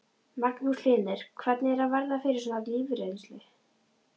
Magnús Hlynur: Hvernig er að verða fyrir svona lífsreynslu?